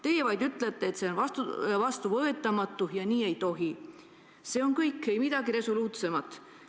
Te vaid ütlete, et see on vastuvõetamatu ja nii ei tohi – see on kõik, ei midagi resoluutsemat.